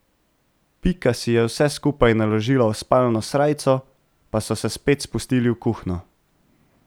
Pika si je vse skupaj naložila v spalno srajco, pa so se spet spustili v kuhinjo.